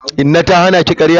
Inna ta hana ki karya?